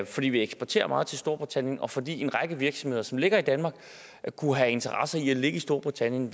fordi vi eksporterer meget til storbritannien og fordi en række virksomheder som ligger i danmark kunne have interesse i at ligge i storbritannien